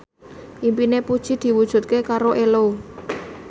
impine Puji diwujudke karo Ello